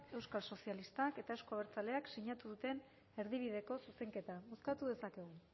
euskal sozialistak eta euzko abertzaleek sinatu duten erdibideko zuzenketa bozkatu dezakegu